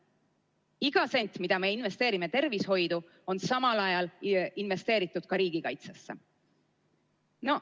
Iga sent, mille me investeerime tervishoidu, on samal ajal investeeritud ka riigikaitsesse.